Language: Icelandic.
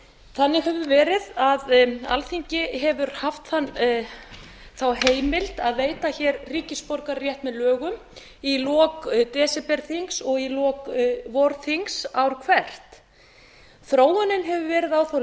þannig hefur verið að alþingi hefur haft þá heimild að veita hér ríkisborgararétt með lögum í lok desemberþings og í lok vorþings ár hvert þróunin hefur verið á þá